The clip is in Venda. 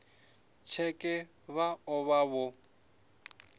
tsheke vha o vha vho